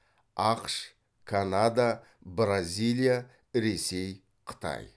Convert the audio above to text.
ақш канада бразилия ресей қытай